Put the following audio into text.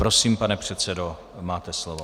Prosím, pane předsedo, máte slovo.